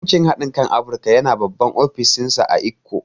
Bankin hadin kan Afrika yana babban ofishinsa a Ikko.